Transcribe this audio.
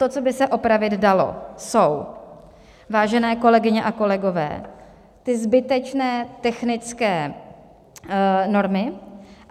To, co by se opravit dalo, jsou, vážené kolegyně a kolegové, ty zbytečné technické normy.